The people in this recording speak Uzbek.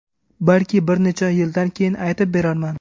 Balki bir necha yildan keyin aytib berarman”.